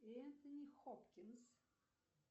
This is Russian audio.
энтони хопкинс